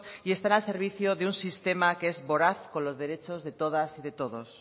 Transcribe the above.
y están al servicio de un sistema que es voraz con los derechos de todas y todos